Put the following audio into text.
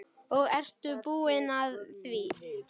Og ertu búin að því?